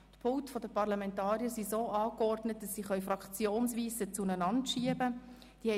Die Pulte der Parlamentarier sind so angeordnet, dass sie sich fraktionsweise zueinander schieben lassen.